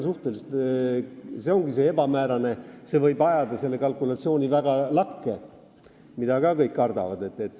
See ongi ebamäärane ja võib ajada kalkulatsiooni väga lakke, nagu kõik kardavad.